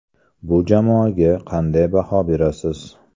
Bu jamoaga qanday baho berasiz ?